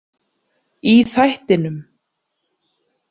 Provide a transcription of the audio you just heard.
Í þættinum.